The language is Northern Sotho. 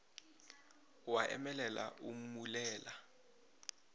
o a emelela o mmulela